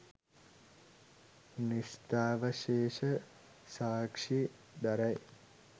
නෂ්ඨාවශේෂ සාක්කි දරයි